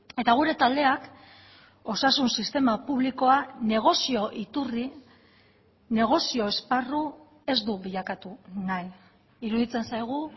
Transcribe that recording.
eta gure taldeak osasun sistema publikoa negozio iturri negozio esparru ez du bilakatu nahi iruditzen zaigu